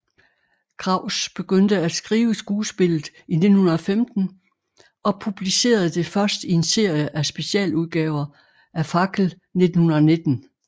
Kraus begyndte at skrive skuespillet i 1915 og publicerede det først i en serie af specialudgaver af Fackel 1919